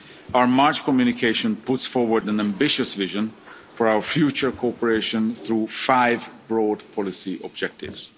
going forward. Our March communication puts forward an ambitious vision for our future cooperation through five broad